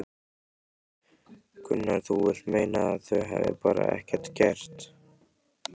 Gunnar: Þú vilt meina að þau hafi bara ekkert gert?